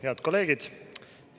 Head kolleegid!